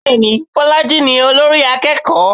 Bẹ́ẹ̀ni, Bọ́lájí ni olórí akẹ́kọ̀ọ́.